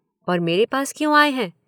और मेरे पास क्यों आए हैं?